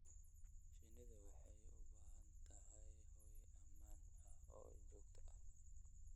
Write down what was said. Shinnidu waxay u baahan tahay hoy ammaan ah oo joogto ah.